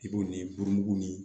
I b'o ni burugu ni